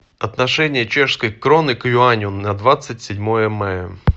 отношение чешской кроны к юаню на двадцать седьмое мая